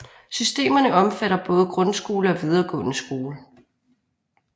Systemerne omfatter både grundskole og videregående skole